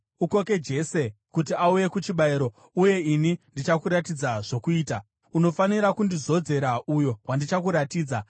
Ukoke Jese kuti auye kuchibayiro, uye ini ndichakuratidza zvokuita. Unofanira kundizodzera uyo wandichakuratidza.”